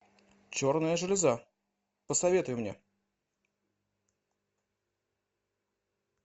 черная железа посоветуй мне